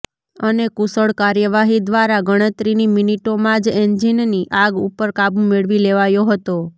અને કુશળ કાર્યવાહી દ્વારા ગણતરીની મિનિટોમાં જ એન્જીનની આગ ઉપર કાબુ મેળવી લેવાયો હતો